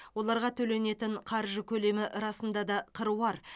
оларға төленетін қаржы көлемі расында да қыруар